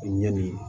Ɲɛ nin